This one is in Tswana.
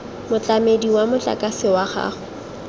motlamedi wa motlakase wa gago